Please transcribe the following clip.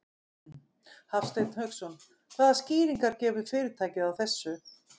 Hafsteinn Hauksson: Hvaða skýringar gefur fyrirtækið á þessu?